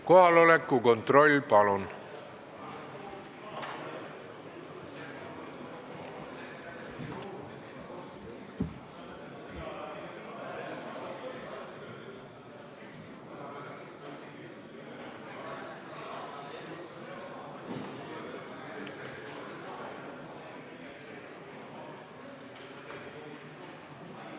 Kohaloleku kontroll, palun!